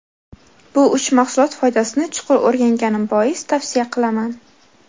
Bu uch mahsulot foydasini chuqur o‘rganganim bois tavsiya qilaman.